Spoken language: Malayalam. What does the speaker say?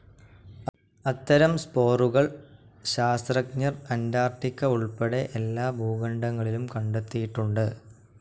അത്തരം സ്പോറുകൾ ശാസ്ത്രജ്ഞർ അൻ്റാർട്ടിക്ക ഉൾപ്പെടെ എല്ലാ ഭൂഖണ്ഡങ്ങളിലും കണ്ടെത്തിയിട്ടുണ്ട്.